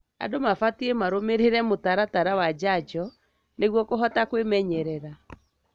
Andũ mabatie marũmĩrĩre mũtaratara wa njanjo nĩguo kũhota kwĩmenyerera.